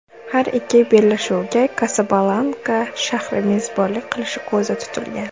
Har ikki bellashuvga Kasablanka shahri mezbonlik qilishi ko‘zda tutilgan.